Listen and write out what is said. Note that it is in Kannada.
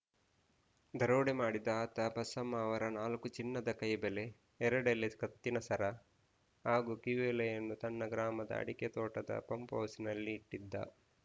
ದರೋಡೆ ಮಾಡಿದ್ದ ಆತ ಬಸಮ್ಮ ಅವರ ನಾಲ್ಕು ಚಿನ್ನದ ಕೈಬಳೆ ಎರಡೆಳೆ ಕತ್ತಿನ ಸರ ಹಾಗೂ ಕಿವಿಯೋಲೆಯನ್ನು ತನ್ನ ಗ್ರಾಮದ ಅಡಿಕೆ ತೋಟದ ಪಂಪ್‌ಹೌಸ್‌ನಲ್ಲಿ ಇಟ್ಟಿದ್ದ